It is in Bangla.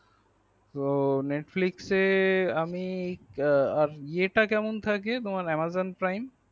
তো netflix আমি এ টা কেমন থাকে তোমার amazon prime